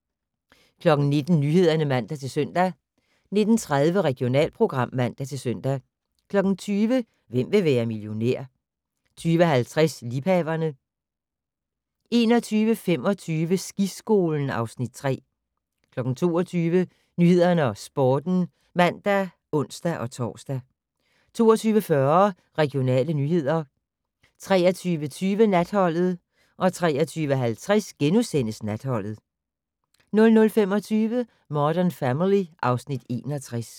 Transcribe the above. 19:00: Nyhederne (man-søn) 19:30: Regionalprogram (man-søn) 20:00: Hvem vil være millionær? 20:50: Liebhaverne 21:25: Skiskolen (Afs. 3) 22:00: Nyhederne og Sporten (man og ons-tor) 22:40: Regionale nyheder 23:20: Natholdet 23:50: Natholdet * 00:25: Modern Family (Afs. 61)